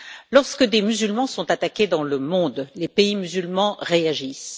Lorsque des musulmans sont attaqués dans le monde, les pays musulmans réagissent.